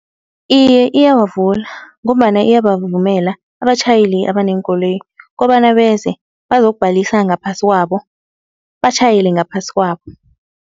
Iye iyawavula, ngombana iyabavumela abatjhayeli abaneenkoloyi kobana beze bazokubhalisa ngaphasi kwabo batjhayele ngaphasi kwabo.